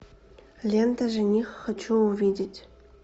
лента жених хочу увидеть